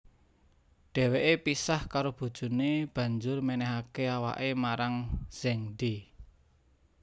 Dheweke pisah karo bojone banjur menehake awake marang Zhengde